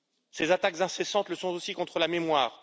Ces attaques incessantes le sont aussi contre la mémoire.